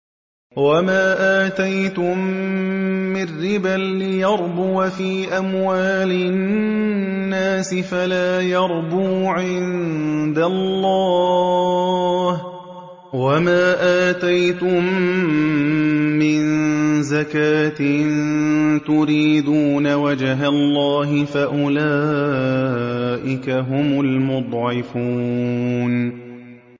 وَمَا آتَيْتُم مِّن رِّبًا لِّيَرْبُوَ فِي أَمْوَالِ النَّاسِ فَلَا يَرْبُو عِندَ اللَّهِ ۖ وَمَا آتَيْتُم مِّن زَكَاةٍ تُرِيدُونَ وَجْهَ اللَّهِ فَأُولَٰئِكَ هُمُ الْمُضْعِفُونَ